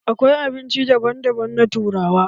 Akwai abinci daban daban na turawa.